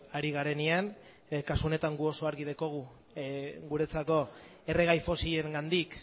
hari garenean kasu honetan guk oso argi daukagu guretzako erregai fosilengandik